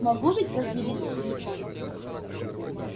могут ведь проследить по телефону